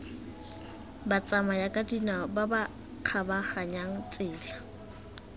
batsamayakadinao ba ba kgabaganyang tsela